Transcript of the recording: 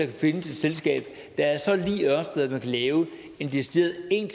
kan findes et selskab der er så lig ørsted at man kan lave en decideret